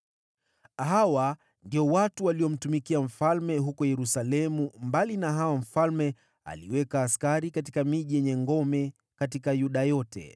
Hawa ndio waliomtumikia mfalme, mbali na wale mfalme aliweka katika miji yenye ngome huko Yuda yote.